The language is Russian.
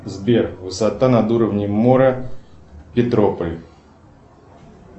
сбер высота над уровнем моря петрополь